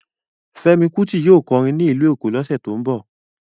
Fẹ́mi Kuti yóò kọrin ní ìlú Èkó lọ́sẹ̀ tó ń bọ̀